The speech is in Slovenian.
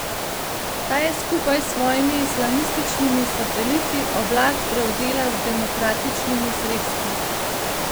Ta je skupaj s svojimi islamističnimi sateliti oblast prevzela z demokratičnimi sredstvi.